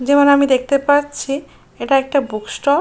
যেমন আমি দেখতে পাচ্ছি এটা একটা বুক স্টোর ।